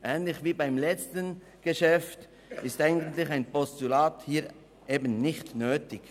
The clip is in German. Ähnlich wie beim letzten Geschäft ist hier eigentlich ein Postulat eben nicht nötig.